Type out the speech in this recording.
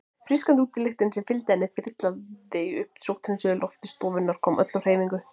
Frískandi útilyktin sem fylgdi henni þyrlaði upp sótthreinsuðu lofti stofunnar, kom öllu á hreyfingu.